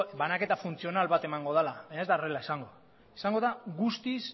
banaketa funtzional bat emango dela baina ez da horrela izango izango da guztiz